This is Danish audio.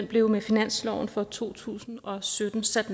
blev med finansloven for to tusind og sytten sat